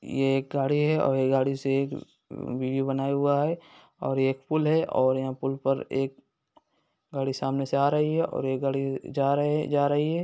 ये एक गाड़ी है और ये गाड़ी से एक वीडियो बनाया हुआ है और ये एक पुल है और यहाँ पुल पर एक गाड़ी सामने से आ रही है और एक गाड़ी जा रही है जा रही है।